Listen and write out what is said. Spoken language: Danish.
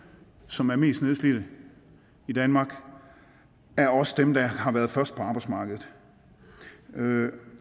som er mest nedslidte i danmark er også dem der har været først på arbejdsmarkedet